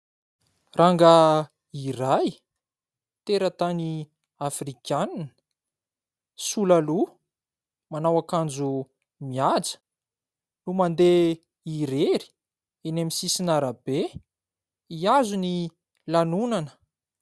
Rangahy iray teratany Afrikanina sola loha, manao akanjo mihaja no mandeha irery eny amin'ny sisin'arabe hiazo ny lanonana.